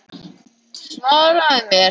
Svaraðu mér!